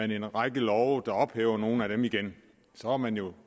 en række love der ophæver nogle af dem igen så er man jo